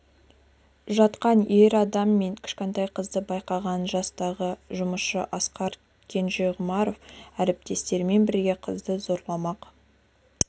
жатқан ер адам мен кішкентай қызды байқаған жастағы жұмысшы асқар кенжеғұмаров әріптестерімен бірге қызды зорламақ